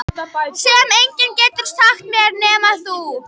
Sem enginn getur sagt mér nema þú.